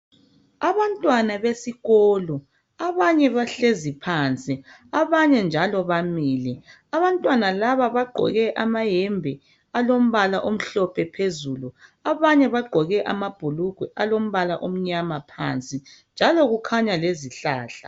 Abantwana besikolo abanye bahlezi phansi, abanye njalo bamile. Abantwana laba bagqoke amahembe alombala omhlophe phezulu, abanye bagqoke amabhulugwe alombala amnyama phansi. Njalo kukhanya lezihlahla.